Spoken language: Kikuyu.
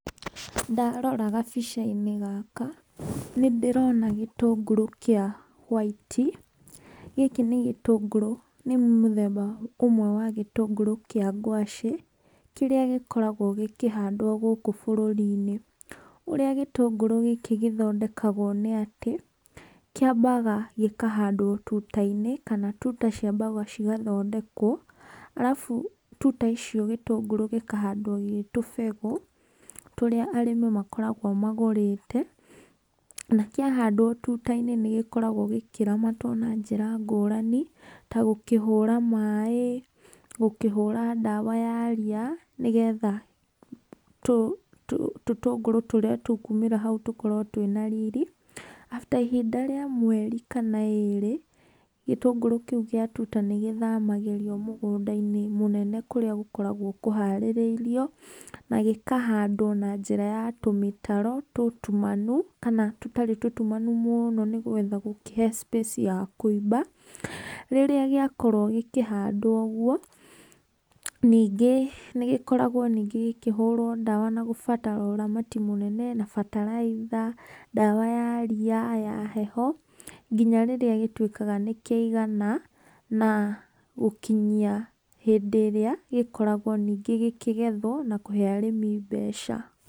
Ndarora gabica-inĩ gaka, nĩ ndĩrona gĩtũngũrũ kĩa hwaiti, gĩkĩ nĩ gĩtũngũrũ, nĩ mũthemba ũmwe wa gĩtũngũrũ kĩa ngwacĩ, kĩrĩa gĩkoragwo gĩkĩhandwo gũkũ bũrũri-inĩ. Ũrĩa gĩtũngũrũ gĩkĩ gĩthondekagwo nĩ atĩ, kĩambaga gĩkahandwo tuta-inĩ kana tuta ciambaga cigathondekwo, arabu tuta icio gĩtũngũrũ gĩkahandwo gĩ tũbegũ tũrĩa arĩmi makoragwo magũrĩte, na kĩahandwo tuta-inĩ nĩ gĩkoragwo gĩkĩramatwo na njĩra ngũrani, ta gũkĩhũra maĩ, gũkĩhũra ndawa ya ria nĩgetha tũtũngũrũ tũrĩa tũkumĩra hau tũkorwo twĩna riri, after ihinda rĩa mweri kana ĩrĩ, gĩtũngũrũ kĩu gĩa tuta nĩ gĩthamagĩrio mũgũnda-inĩ mũnene kũrĩa gũkoragwo kũharĩrĩirio, na gĩkahandwo na njĩra ya tũmĩtaro tũtumanu kana tũtarĩ tũtumanu mũno nĩgetha gũkĩhe space ya kũimba, rĩrĩa gĩakorwo gĩkĩhandwo ũguo, ningĩ nĩ gĩkoragwo ningĩ gĩkĩhũrwo ndawa na gũbatara ũramati mũnene, na bataraitha, ndawa ya ria, ya heho, nginya rĩrĩa gĩtuĩkaga nĩ kĩaigana, na gũkinyia hĩndĩ ĩrĩa gĩkoragwo ningĩ gĩkĩgethwo na kũhe arĩmi mbeca.